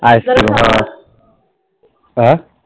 icecream हं अं?